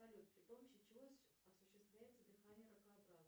салют при помощи чего осуществляется дыхание ракообразных